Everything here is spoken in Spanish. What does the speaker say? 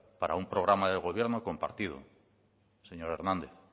para un programa de gobierno compartido señor hernández